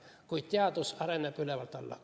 Kuid teadus areneb ülevalt alla.